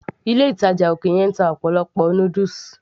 ilé ìtàjà òkè yẹn ń ta ọ̀pọ̀lọpọ̀ noodles